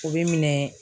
O bɛ minɛ